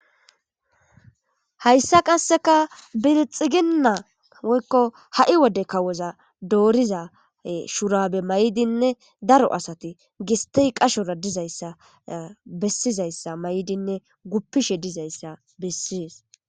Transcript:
Hayssa qasseka bilxiginna woykko ha'i wode kawoza dooriza shurabe may'dinne daro asati gistey qashora dizayssa bessizayssa may'dinne guppishe dizayssa bessies